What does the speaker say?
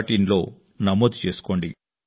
inలో నమోదు చేసుకోండి